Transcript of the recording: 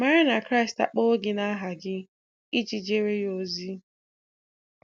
Mara na Kraịst akpọwo gị naha gị iji jeere Ya ozi.